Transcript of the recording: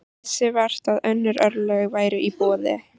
Vissi vart að önnur örlög væru í boði.